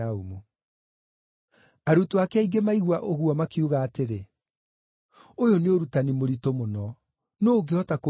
Arutwo ake aingĩ maigua ũguo makiuga atĩrĩ, “Ũyũ nĩ ũrutani mũritũ mũno, nũũ ũngĩhota kũwĩtĩkĩra?”